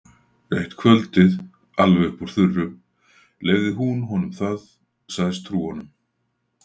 Eitt kvöldið, alveg upp úr þurru, leyfði hún honum það, sagðist trúa honum.